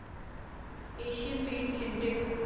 Asian Paints limited